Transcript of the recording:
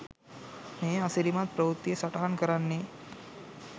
මේ අසිරිමත් ප්‍රවෘත්තිය සටහන් කරන්නේ